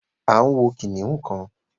a ń wọ kìnìún kan.